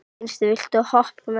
Gneisti, viltu hoppa með mér?